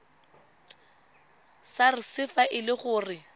sars fa e le gore